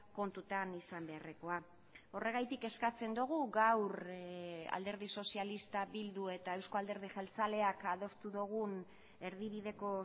kontutan izan beharrekoa horregatik eskatzen dugu gaur alderdi sozialista bildu eta euzko alderdi jeltzaleak adostu dugun erdibideko